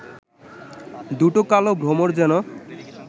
দুটো কালো ভ্রমর যেন